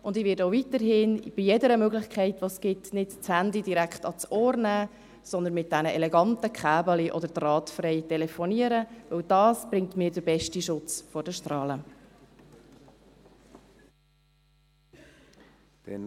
Ich werde auch weiterhin bei jeder Möglichkeit, die es gibt, das Handy nicht direkt ans Ohr nehmen, sondern mit diesen eleganten Kabeln oder drahtfrei telefonieren, denn dies bringt mir den besten Schutz vor den Strahlen.